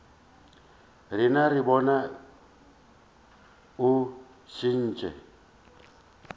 rena re bone o šetše